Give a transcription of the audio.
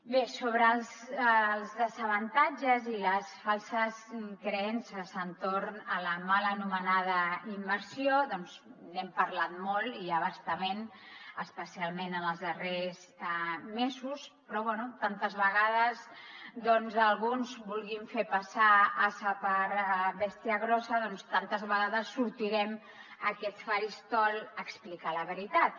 bé sobre els desavantatges i les falses creences entorn de la mal anomenada immersió n’hem parlat molt i a bastament especialment en els darrers mesos però bé tantes vegades com alguns vulguin fer passar ase per bèstia grossa doncs tantes vegades sortirem a aquest faristol a explicar la veritat